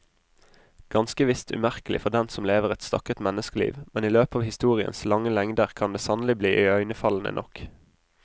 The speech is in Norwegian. Ganske visst umerkelig for den som lever et stakket menneskeliv, men i løpet av historiens lange lengder kan det sannelig bli iøynefallende nok.